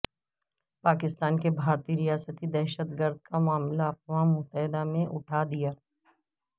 پاکستان نے بھارتی ریاستی دہشتگردی کا معاملہ اقوام متحدہ میں اٹھا دیا